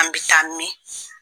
An bɛ taa min?